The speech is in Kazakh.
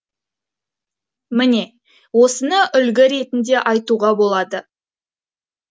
міне осыны үлгі ретінде айтуға болады